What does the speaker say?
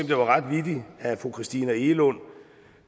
det var ret vittigt at fru christina egelund